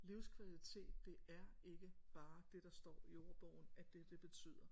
Livskvalitet det er ikke bare det der står i ordbogen er det det betyder